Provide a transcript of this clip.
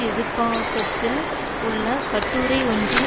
எதிர்ப்பாக்கத்தில் உள்ள கட்டுரை ஒன்றில்